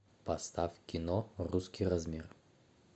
поставь кино русский размер